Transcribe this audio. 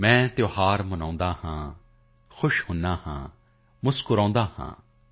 ਮੈਂ ਤਿਉਹਾਰ ਮਨਾਤਾ ਹੂੰ ਖੁਸ਼ ਹੋਤਾ ਹੂੰ ਮੁਸਕੁਰਾਤਾ ਹੂੰ